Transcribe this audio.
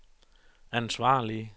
ansvarlige